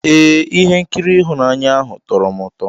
Ee, ihe nkiri ịhụnanya ahụ tọrọ m ụtọ.